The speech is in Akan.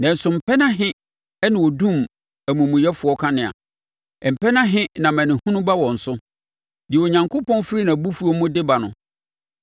“Nanso mpɛn ahe na wɔdum amumuyɛfoɔ kanea? Mpɛn ahe na amanehunu ba wɔn so, deɛ Onyankopɔn firi nʼabufuo mu de ba no?